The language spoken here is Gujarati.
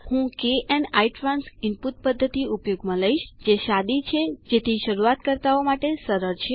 હું kn ઇટ્રાન્સ ઇનપુટ પદ્ધતિ ઉપયોગમાં લઇશ જે સાદી છે જેથી શરૂઆતકર્તાઓ માટે સરળ છે